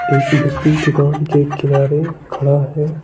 एक व्यक्ति दुकान के किनारे खड़ा है।